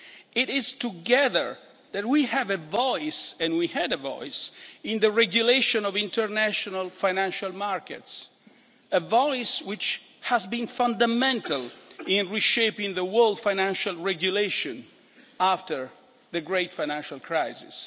It is together that we have a voice and we had a voice in the regulation of international financial markets, a voice which has been fundamental in reshaping the world financial regulation after the great financial crisis.